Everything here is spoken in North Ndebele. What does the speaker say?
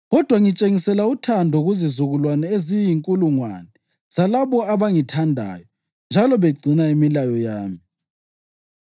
kodwa ngitshengisela uthando kuzizukulwane eziyinkulungwane zalabo abangithandayo njalo begcina imilayo yami.